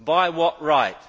By what right?